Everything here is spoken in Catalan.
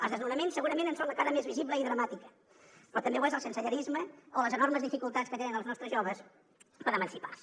els desnonaments segurament en són la cara més visible i dramàtica però també ho és el sensellarisme o les enormes dificultats que tenen els nostres joves per emancipar se